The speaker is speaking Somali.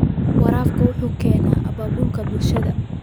Waraabka waxa uu keena abaabul bulsho.